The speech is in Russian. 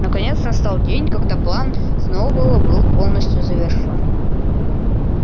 наконец настал день когда план сноуболла был полностью завершён